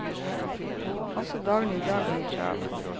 Også dagen i dag blir travel.